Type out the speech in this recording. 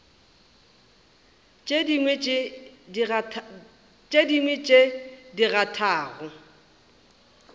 tše dingwe tše di kgathago